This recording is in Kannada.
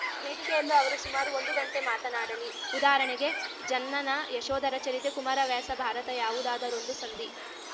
ವೇದಿಕೆಯಲ್ಲೂ ಅವರು ಸುಮಾರು ಒಂದು ಗಂಟೆ ಮಾತಾಡಲಿ ಉದಾಹರಣೆಗೆ ಜನ್ನನ ಯಶೋಧರ ಚರಿತೆ ಕುಮಾರವ್ಯಾಸ ಭಾರತ ಯಾವುದಾದರೊಂದು ಸಂಧಿ